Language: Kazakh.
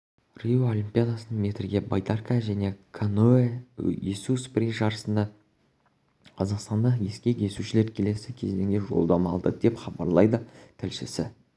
рио олимпиадасында метрге байдарка және каноэ есу спринт жарысында қазақстандық ескек есушілер келесі кезеңге жолдама алды деп хабарлайды тілшісі